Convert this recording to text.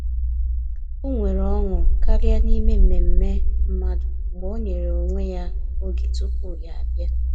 O nwere ọṅụ karịa n’ime mmemme mmadụ mgbe ọ nyere onwe ya oge tupu ya abịa.